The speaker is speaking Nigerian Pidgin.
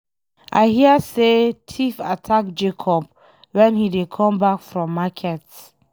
I hear say thief attack Jacob wen he dey come back from market.